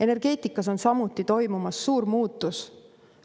Energeetikas on samuti toimumas suur muutus.